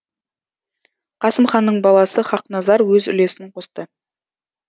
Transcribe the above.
қасым ханның баласы хақназар өз үлесін қосты